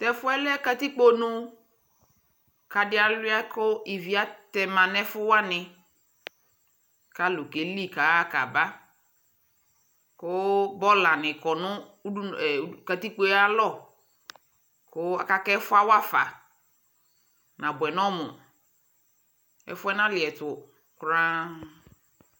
tʊ ɛfʊ yɛlɛ katikpo ɛtʊ, adɩ aluia kʊ ivi atɛma nʊ ɛfʊwanɩ, kʊ alʊ keli kaɣa kaba, kʊ bɔlanɩ kɔ nʊ katikpo yɛ ayʊ alɔ, aka kʊ ɛfʊ yɛ awafa, nabʊɛ nʊ ɔmʊ, ɛfʊ yɛ naliɛtʊ tinya tete